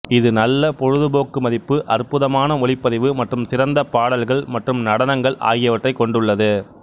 இது நல்ல பொழுதுபோக்கு மதிப்பு அற்புதமான ஒளிப்பதிவு மற்றும் சிறந்த பாடல்கள் மற்றும் நடனங்கள் ஆகியவற்றைக் கொண்டுள்ளது